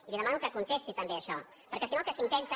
i li demano que contesti també això perquè si no el que s’intenta